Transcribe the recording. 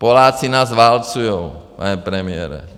Poláci nás válcují, pane premiére.